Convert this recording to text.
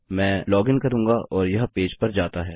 मैं लॉगिन करूँगा और यह पेज पर जाता है